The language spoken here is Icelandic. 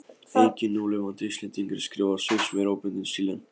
Enginn núlifandi Íslendingur skrifar svipmeiri óbundinn stíl en